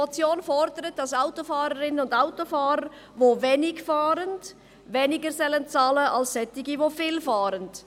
– Die Motion fordert, dass Autofahrerinnen und Autofahrer, die wenig fahren, weniger bezahlen sollen als solche, die viel fahren.